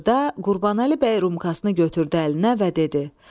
Axırda Qurbanəli bəy rumkasını götürdü əlinə və dedi: